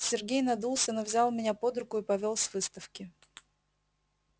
сергей надулся но взял меня под руку и повёл с выставки